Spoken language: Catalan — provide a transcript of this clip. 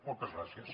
moltes gràcies